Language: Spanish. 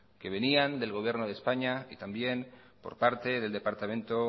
que venían del gobierno de españa y también por parte del departamento